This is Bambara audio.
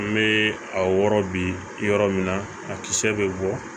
N bɛ a wɔrɔ bi yɔrɔ min na a kisɛ bɛ bɔ